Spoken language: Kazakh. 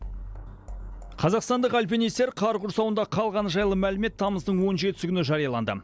қазақстандық альпинистер қар құрсауында қалғаны жайлы мәлімет тамыздың он жетісі күні жарияланды